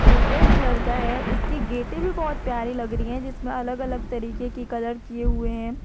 Red colour का है इसकी गेटे भी बहुत प्यारी लग रही है जिसमें अलग अलग तरीके की कलर किए हुए हैं।